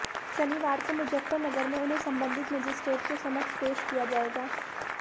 शनिवार को मुजफ्फरनगर में उन्हें संबंधित मजिस्ट्रेट के समक्ष पेश किया जाएगा